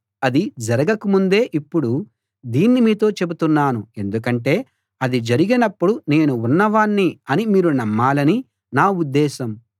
అది జరగక ముందే ఇప్పుడు దీన్ని మీతో చెబుతున్నాను ఎందుకంటే అది జరిగినప్పుడు నేను ఉన్నవాణ్ణి అని మీరు నమ్మాలని నా ఉద్దేశం